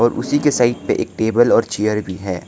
और उसी के साइड पे एक टेबल और चेयर भी है।